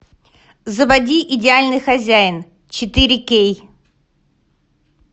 заводи идеальный хозяин четыре кей